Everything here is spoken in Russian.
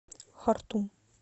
хартум